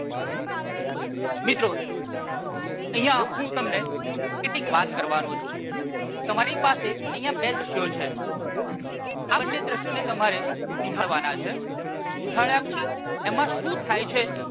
મિત્રો, અહિંયા હું તમને કેટલીક વાત કરવાનો છુ. તમારી પાસે અહિંયા બે દ્રશ્યો છે. આ બંને દ્રશ્યોને તમારે નિહાળવાના છે. નિહાળવાથી એમાં શું થાય છે.